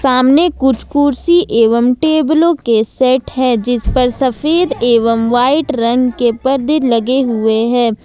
सामने कुछ कुर्सी एवं टेबलों के सेट हैं जिस पर सफेद एवं व्हाइट रंग के पर्दे लगे हुए हैं।